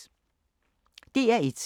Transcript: DR1